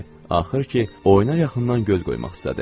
Axır ki, oyuna yaxından göz qoymaq istədi.